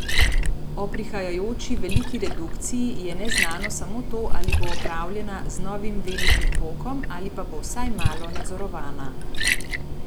O prihajajoči veliki redukciji je neznano samo to, ali bo opravljena z novim velikim pokom ali pa bo vsaj malo nadzorovana.